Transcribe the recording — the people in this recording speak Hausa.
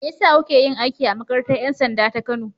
Me ya sa kuka yi aiki a makarantar 'yan sanda ta Kano?